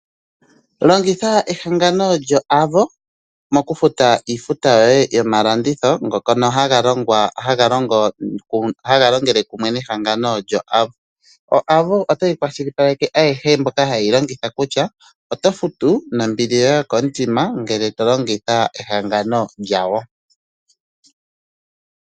Longitha ehangano lyo Avo, mokufuta iifuta yoye yomalanditho, ngono ha ga longele kumwe nehangano lyo Avo. O Avo ota yi kwashilipaleke ayehe mboka ha ye yi longitha, kutya oto futu nombi yoye yokomutima, ngele to longitha ehangano lyawo.